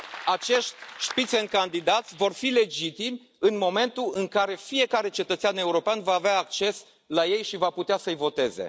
Acești Spitzenkandidaten vor fi legitimi în momentul în care fiecare cetățean european va avea acces la ei și va putea să îi voteze.